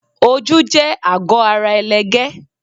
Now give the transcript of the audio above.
Ojú jẹ àgọ́ ara ẹlẹgẹ́.